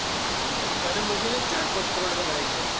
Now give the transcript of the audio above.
કને મૂકીને ચાર પોચ કરોડ માં તો આઇ જાય.